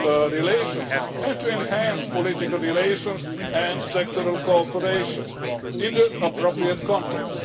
relations and to enhancing political relations and sectoral cooperation in the appropriate context.